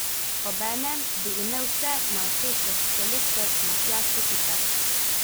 Obenem bi imel vse na očeh še selektor Matjaž Kopitar!